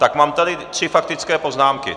Tak mám tady tři faktické poznámky.